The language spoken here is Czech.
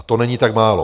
A to není tak málo.